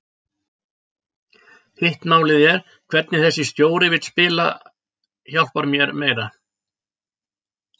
Hitt málið er hvernig þessi stjóri vill spila hjálpar mér meira.